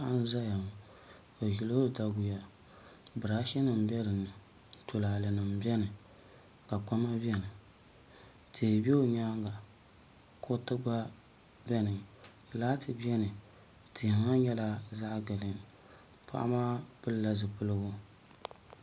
Paɣa n-zaya ŋɔ o ʒila o daɡuya biraashinima be di ni tulaalenima beni ka kpama beni tihi be o nyaaŋa kuriti ɡba beni laati beni tihi maa nyɛla zaɣ' ɡiriin paɣa maa pilla zipiliɡu